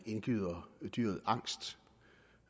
indgyde dyret angst